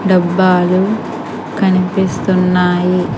డబ్బాలు కనిపిస్తున్నాయి.